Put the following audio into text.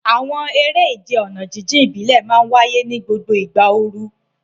Àwọn eré ìje ọ̀nà jíjìn ìbílẹ̀ máa ń wáyé ní gbogbo ìgbà ooru.